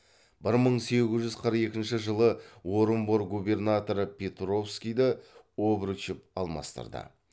бір мың сегіз жүз қырық екінші жылы орынбор губернаторы петровскийді обручев алмастырды